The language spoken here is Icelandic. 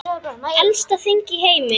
Elsta þing í heimi.